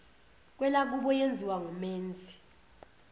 kwelakubo yenziwa ngumenzi